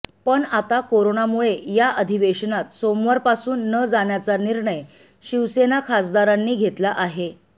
पण आता कोरोनामुळे या अधिवेशनात सोमवारपासून न जाण्याचा निर्णय शिवसेना खासदारांनी घेतला आहे